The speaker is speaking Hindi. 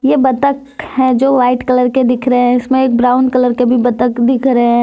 ये बत्तख है जो वाइट कलर के दिख रहे हैं इसमें एक ब्राउन कलर के भी बत्तख दिख रहे--